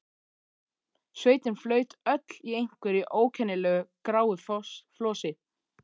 Sveitin flaut öll í einhverju ókennilegu gráu flosi.